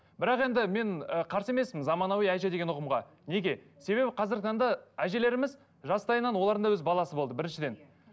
бірақ енді мен ы қарсы емеспін заманауи әже деген ұғымға неге себебі қазіргі таңда әжелеріміз жастайынан олардың да өз баласы болды біріншіден